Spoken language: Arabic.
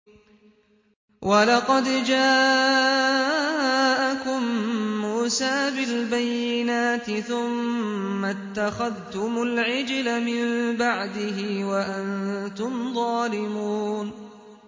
۞ وَلَقَدْ جَاءَكُم مُّوسَىٰ بِالْبَيِّنَاتِ ثُمَّ اتَّخَذْتُمُ الْعِجْلَ مِن بَعْدِهِ وَأَنتُمْ ظَالِمُونَ